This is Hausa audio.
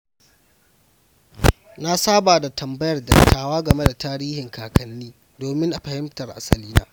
Na saba da tambayar dattawa game da tarihin kakanni domin fahimtar asalina.